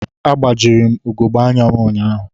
Agbajiri m ugogbe anya anya ụnyahụ.